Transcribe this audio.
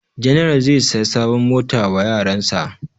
General zai saya sabon mota wa yaran sa